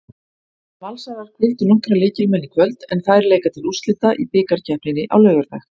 Valsarar hvíldu nokkra lykilmenn í kvöld en þær leika til úrslita í bikarkeppninni á laugardag.